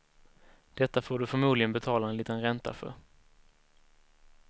Detta får du förmodligen betala en liten ränta för.